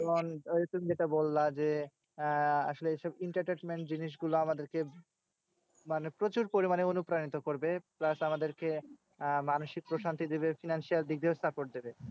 ওই তুমি যেটা বললা যে, আহ আসলে এইসব entertainment জিনিসগুলা আমাদের কে মানে প্রচুর পরিমানে অনুপ্রাণিত করবে। plus আমাদের কে আহ মানসিক প্রশান্তি দিবে। financial দিক দিয়েও support দিবে।